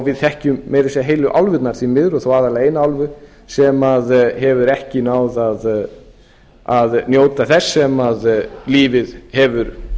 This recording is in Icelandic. við þekkjum meira að segja heilu álfurnar því miður og þó aðallega eina álfu sem hefur ekki náð njóta þess sem lífið hefur